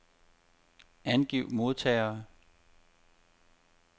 Angiv modtagere.